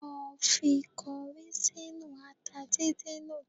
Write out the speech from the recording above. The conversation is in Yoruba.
Lọ fi kọrí sínú ata dídín náà